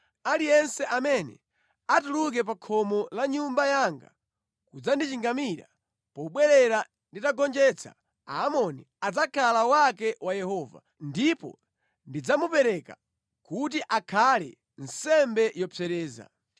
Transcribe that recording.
aliyense amene atuluke pa khomo la nyumba yanga kudzandichingamira pobwerera nditagonjetsa Aamoni adzakhala wake wa Yehova, ndipo ndidzamupereka kuti akhale nsembe yopsereza.”